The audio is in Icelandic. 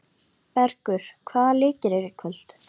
Bergur, hvaða leikir eru í kvöld?